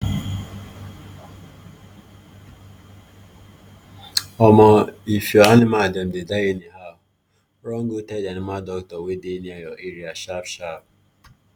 omo if your animal dem dey die anyhow run go tell the animal doctor wey dey near your area sharp sharp